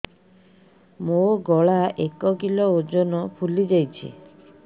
ମୋ ଗଳା ଏକ କିଲୋ ଓଜନ ଫୁଲି ଯାଉଛି